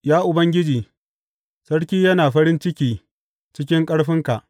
Ya Ubangiji, sarki yana farin ciki cikin ƙarfinka.